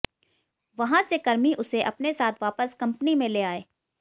वहां से कर्मी उसे अपने साथ वापस कंपनी में ले आये